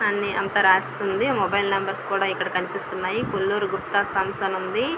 అన్ని అంతా రాసి ఉంది. మొబైల్ నెంబర్స్ తో కూడా ఇక్కడ కనిపిస్తున్నాయి. కొల్లూరు గుప్తా సన్స్ అని ఉంది.